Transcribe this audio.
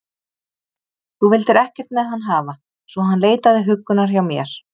Þú vildir ekkert með hann hafa, svo hann leitaði huggunar hjá mér.